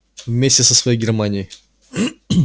вместе со своей германией